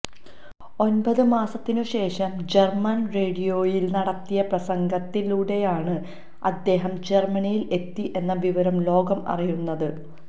ഒന്പത് മാസത്തിന് ശേഷം ജർമ്മൻ റേഡിയോയിൽ നടത്തിയ പ്രസംഗത്തിലൂടെയാണ് അദ്ദേഹം ജർമ്മനിയിൽ എത്തി എന്ന വിവരം ലോകം അറിയുന്നത്